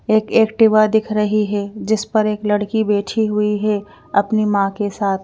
एक एक्टिवा दिख रही है जिस पर एक लड़की बैठी हुई है। अपनी मां के साथ --